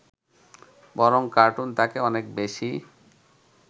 বরং কার্টুন তাকে অনেক বেশী